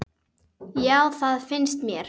Já, það finnst mér.